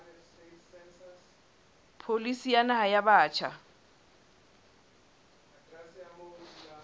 pholisi ya naha ya batjha